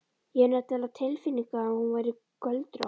Ég hafði nefnilega á tilfinningunni að hún væri göldrótt.